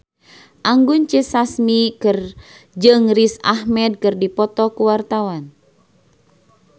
Anggun C. Sasmi jeung Riz Ahmed keur dipoto ku wartawan